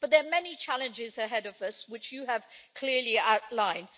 But there are many challenges ahead of us, which you have clearly outlined.